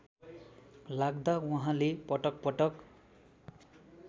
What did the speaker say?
लाग्दा उहाँले पटकपटक